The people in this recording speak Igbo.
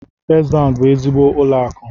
Fest banki bụ ezigbo ụlọ akụ.